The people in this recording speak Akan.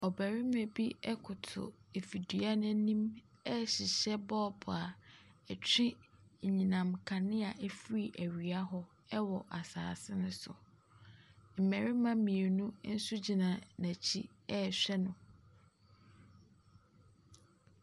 Ɔbarima bi koto afidie no anim rehyehyɛ bɔɔbo a ɛtwe anyinam nkanea firi awia hɔ wɔ asase no so. Mmarima mmienu nso gyina n'akyi rehwɛ no.